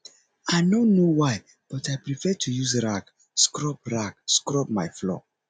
i no know why but i prefer to use rag scrub rag scrub my floor